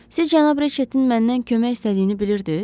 Siz cənab Riçettin məndən kömək istədiyini bilirdiz?